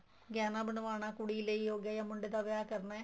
ਗਹਿਣਾ ਬਣਵਾਉਣਾ ਕੁੜੀ ਲਈ ਹੋ ਗਿਆ ਜਾ ਮੁੰਡੇ ਦਾ ਵਿਆਹ ਕਰਨਾ ਏ